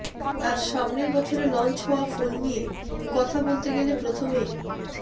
আর সামনের বছরে লঞ্চ হওয়া ফোন নিয়ে কথা বলতে গেলে প্রথমেই